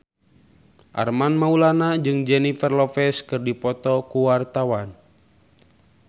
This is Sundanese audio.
Armand Maulana jeung Jennifer Lopez keur dipoto ku wartawan